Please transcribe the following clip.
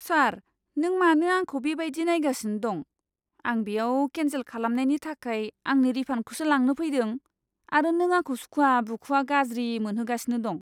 सार, नों मानो आंखौ बेबायदि नायगासिनो दं? आं बेयाव केन्सेल खालामनायनि थाखाय आंनि रिफान्डखौसो लांनो फैदों आरो नों आंखौ सुखुआ बुखुआ गाज्रि मोनहोगासिनो दं!